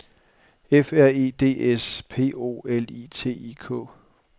F R E D S P O L I T I K